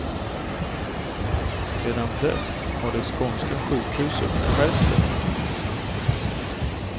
Sedan dess har det skånska sjukhuset skärpt sig.